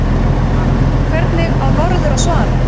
Hvernig á norður að svara?